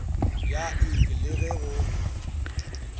ya ik le ge go